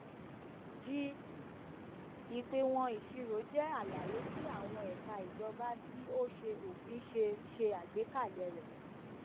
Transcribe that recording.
g ìpéwọn ìṣirò jẹ àlàyé ti àwọn ẹka ìjọba tí ó ńṣe òfin ṣe ṣe àgbékalè rẹ